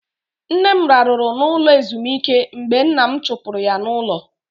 Nne m raruru na ụlọ ezumike mgbe nna m chupuru ya n'ulo.